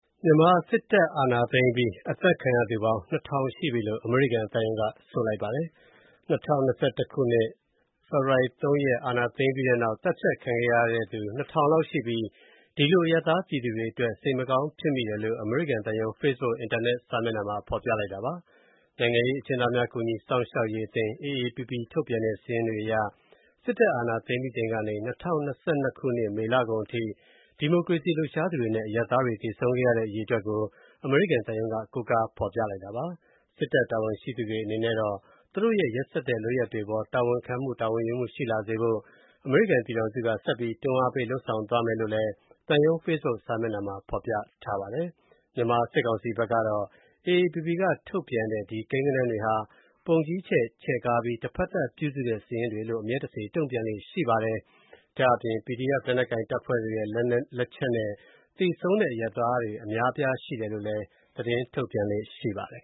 မြန်မာ စစ်တပ်အာဏာသိမ်းအပြီး အသတ်ခံရသူ ၂၀၀၀ ရှိပြီလို့ အမေရိကန်သံရုံးက ဆိုပါတယ်။ ၂၀၂၁ ခုနှစ်၊ ဖေဖော်ဝါရီ ၁ ရက်၊ အာဏာသိမ်းပြီးတဲ့နောက် သတ်ဖြတ်ခံခဲ့ရတဲ့သူ ၂၀၀၀ လောက်ရှိပြီး ဒီလို အရပ်သားပြည်သူတွေအတွက် စိတ်မကောင်း ဖြစ်မိတဲ့အကြောင်း အမေရိကန်သံရုံး Facebook အင်တာနက် စာမျက်နှာမှာ ဖေါ်ပြပါတယ်။ နိုင်ငံရေးအကျဉ်းသားများ ကူညီစောင့်ရှောက်ရေးအသင်း (AAPP) ထုတ်ပြန်တဲ့ စာရင်းတွေအရ စစ်တပ်အာဏာသိမ်းပြီးချိန်ကနေ ၂၀၂၂ ခုနှစ် မေလကုန်အထိ ဒီမိုကရေစီလှုပ်ရှားသူတွေနဲ့ အရပ်သားတွေ သေဆုံးတဲ့ အရေအတွက်ကို အမေရိကန် သံရုံးက ကိုးကားဖေါ်ပြတာပါ။ စစ်တပ်တာဝန်ရှိသူတွေအနေနဲ့ သူတို့ရဲ့ ရက်စက်တဲ့ လုပ်ရပ်တွေအပေါ် တာဝန်ခံမှု၊ တာဝန်ယူမှုရှိလာဖို့ အမေရိကန်ပြည်ထောင်စုက ဆက်ပြီးတွန်းအားလုပ်ဆောင်သွားမယ်လို့လည်း သံရုံး Facebook စာမျက်နှာမှာ ဖော်ပြထားပါတယ်။ မြန်မာစစ်ကောင်စီဘက်ကတော့ AAPP က ထုတ်ပြန်တဲ့ ကိန်းဂဏန်းတွေဟာ ပုံကြီးချဲ့ ချဲ့ကားပြီး တဖက်သတ် ပြုစုတဲ့ စာရင်းတွေလို့ အမြဲတစေ တုံ့ပြန်လေ့ရှိပါတယ်။ PDF လက်နက်ကိုင်အဖွဲ့ရဲ့လက်ချက်နဲ့ သေဆုံးတဲ့ အရပ်သားတွေ အများအပြား ရှိတယ်လို့လည်း သတင်းထုတ်ပြန်လေ့ရှိပါတယ်။